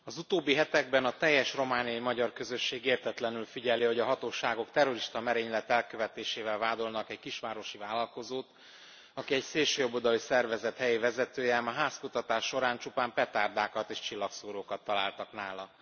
Az utóbbi hetekben a teljes romániai magyar közösség értetlenül figyeli, hogy a hatóságok terrorista merénylet elkövetésével vádolnak egy kisvárosi vállalkozót, aki egy szélsőjobboldali szervezet helyi vezetője, ám a házkutatás során csupán petárdákat és csillagszórókat találtak nála.